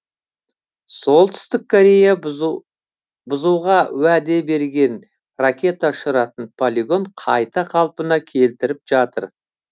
солтүстік корея бұзуға уәде берген ракета ұшыратын полигон қайта қалпына келтіріліп жатыр